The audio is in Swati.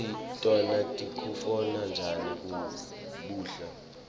kutsi tona tikutfola njani kubla